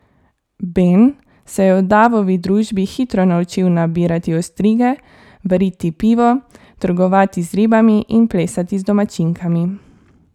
Ben se je v Davovi družbi hitro naučil nabirati ostrige, variti pivo, trgovati z ribami in plesati z domačinkami.